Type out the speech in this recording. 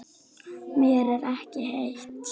Mér er ekki heitt.